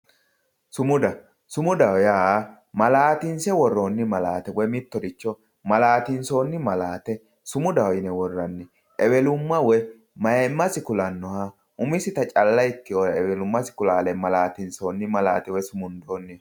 Sumuda, sumudaho yaa ma'latinse wo'ronni ma'late woyi mittoricho sumudaho yinne worranni ewelumma woyi mayimasi ku'lanoha umisitta calla eweluma ku'lanoha ma'latinsonni woyi sumundonni.